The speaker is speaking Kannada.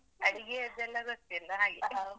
ಅಡಿಗೆಯದ್ದೆಲ್ಲಾ ಗೊತ್ತಿಲ ಹಾಗೆ.